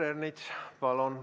Peeter Ernits, palun!